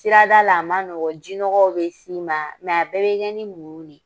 Sirada la a man nɔgɔn jinɔgɔw bɛ s'i ma bɛɛ bɛ kɛ ni muɲu de ye